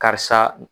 Karisa